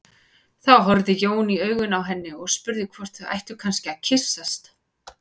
Þá horfði Jón í augun á henni og spurði hvort þau ættu kannski að kyssast.